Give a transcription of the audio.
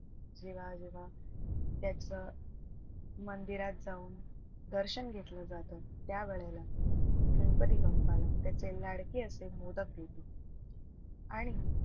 जेव्हा जेव्हा त्याचं मंदिरात जाऊन दर्शन घेतलं जातं त्यावेळेला गणपती बाप्प्पाला त्याचे लाडके असे मोदक देतील आणि,